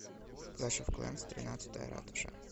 клэш оф клэнс тринадцатая ратуша